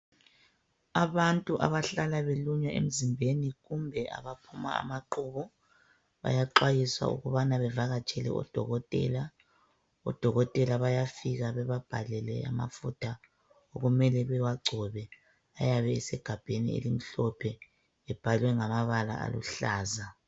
Abantu abahlala belunywa emzimbeni kumbe abaphuma amaqubu. Bayaxwayiswa ukubana bevakatshela odokotela. Odokotela bayafika bebabhalele amafutha okumele bewagcobe ayabe esigabheni elimhlophe ebhalwe ngamabala aluhlaza.